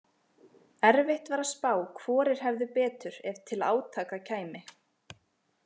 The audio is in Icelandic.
Erfitt var að spá hvorir hefðu betur ef til átaka kæmi.